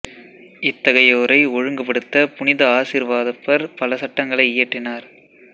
இத்தகையோரை ஒழுங்கு படுத்த புனித ஆசிர்வாதப்பர் பல சட்டங்களை இயற்றினார்